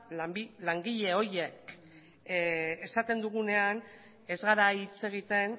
langile horiek esaten dugunean ez gara hitz egiten